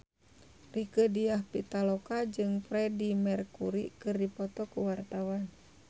Rieke Diah Pitaloka jeung Freedie Mercury keur dipoto ku wartawan